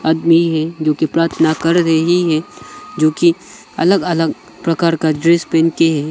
आदमी है जो कि प्रार्थना कर रही है जो कि अलग अलग प्रकार का ड्रेस पहन के।